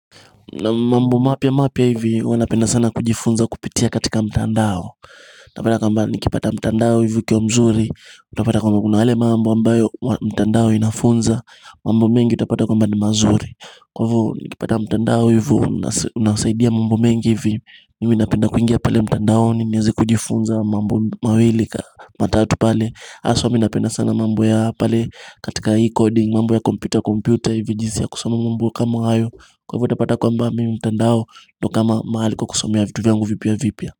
Mambo mapya mapya hivi huwanapenda sana kujifunza kupitia katika mtandao Tapata kwamba nikipata mtandao hivi ukiwa mzuri Utapata kwamba kuna yale mambo ambayo mtandao inafunza mambo mengi utapata kwamba ni mazuri Kwa hivo nikipata mtandao hivo unawasaidia mambo mengi hivi mimi napenda kuingia pale mtandaoni niweze kujifunza mambo mawili matatu pale haswa mi napenda sana mambo ya pale katika e-coding mambo ya computer-computer hivi jinsi ya kusoma mambo ka ma hayo kwa hivo utapata kwamba mimi mtandao ndo kama mahali kwa kusomea vitu vyangu vipia vipia.